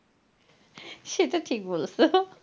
সেটা ঠিক বলেছ!